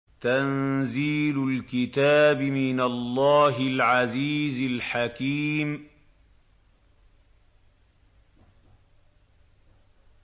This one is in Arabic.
تَنزِيلُ الْكِتَابِ مِنَ اللَّهِ الْعَزِيزِ الْحَكِيمِ